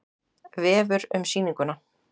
Vefur um sýninguna